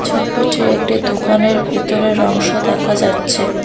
ছবিতে একটি দোকানের ভেতরের অংশ দেখা যাচ্ছে।